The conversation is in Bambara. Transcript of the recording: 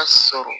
sɔrɔ